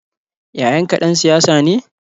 Yayanka ɗan siyasa ne?